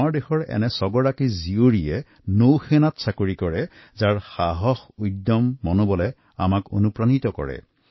আমাৰ দেশৰ এনে ছগৰাকী কন্যা যিসকলে নৌবাহিনীত কাম কৰেতেওঁলোকৰ আবেগ উৎসাহে আমাৰ সকলোকে প্ৰেৰণা দিব